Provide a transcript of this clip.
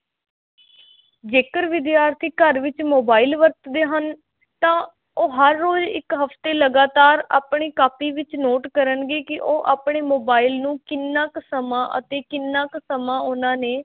ਜੇਕਰ ਵਿਦਿਆਰਥੀ ਘਰ ਵਿੱਚ mobile ਵਰਤਦੇ ਹਨ ਤਾਂ ਉਹ ਹਰ ਰੋਜ਼ ਇੱਕ ਹਫ਼ਤੇ ਲਗਾਤਾਰ ਆਪਣੀ ਕਾਪੀ ਵਿੱਚ note ਕਰਨਗੇ ਕਿ ਉਹ ਆਪਣੇ mobile ਨੂੰ ਕਿੰਨਾ ਕੁ ਸਮਾਂ ਅਤੇ ਕਿੰਨਾ ਕੁ ਸਮਾਂ ਉਹਨਾਂ ਨੇ